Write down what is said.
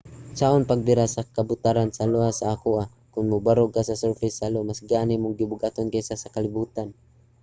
unsaon pagbira sa kabutaran sa io sa akoa? kon mobarog ka sa surface sa io mas gaan imong gibug-aton kaysa sa kalibutan